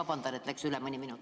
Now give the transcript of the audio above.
Aitäh!